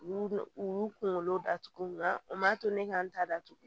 U y'u u y'u kunkolo datugu nga o ma to ne k'an ta datugu